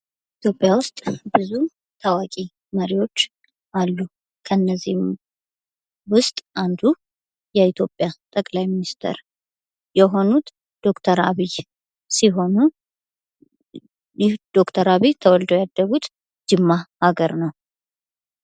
ኢትዮጵያ ብዙ ውስጥ ታዋቂ መሪዎች አሉ ከነዚህም ውስጥ አንዱ የኢትዮጵያ ጠቅላይ ሚኒስተር የሆኑት ዶክተር አብይ ሲሆኑ ዶክተር አብይ ተወልደው ያደጉት ጂማ ሃገር ነው ::